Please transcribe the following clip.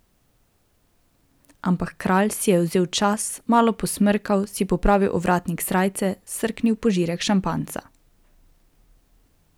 Ampak kralj si je vzel čas, malo posmrkal, si popravil ovratnik srajce, srknil požirek šampanjca.